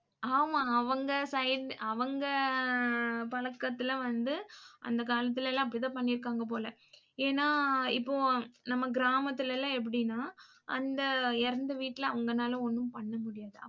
ஆமா அவங்க side அவங்க பழக்கத்துல வந்து அந்த காலத்துலலாம் அப்படி தான் பண்ணிருக்காங்க போல ஏன்னா இப்போ நம்ம கிராமத்துலலாம் எப்படினா அந்த இறந்த வீட்டுல அவங்கனால ஒன்னும் பண்ண முடியாது.